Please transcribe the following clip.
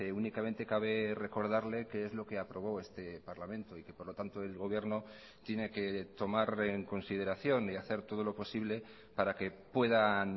únicamente cabe recordarle que es lo que aprobó este parlamento y que por lo tanto el gobierno tiene que tomar en consideración y hacer todo lo posible para que puedan